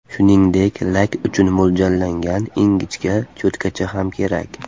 Shuningdek, lak uchun mo‘ljallangan ingichka cho‘tkacha ham kerak.